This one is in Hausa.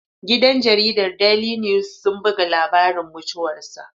Gidan jaridar Daili niwis sun buga labari mutuwar sa